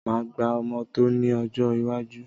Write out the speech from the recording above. Máa gba ọmọ tọ́ ni ọjọ́ iwájú